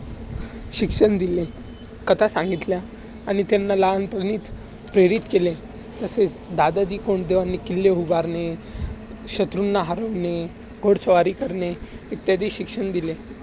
शिक्षण दिले. कथा सांगितल्या आणि त्यांना लहानपणीचं प्रेरित केले. तसेच दादाजी कोंडदेवांनी किल्ले उभारणे, शत्रूंना हरवणे, घोडस्वारी करणे, इत्यादी शिक्षण दिले.